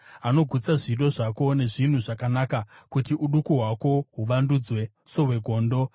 anogutsa zvido zvako nezvinhu zvakanaka, kuti uduku hwako huvandudzwe sohwegondo.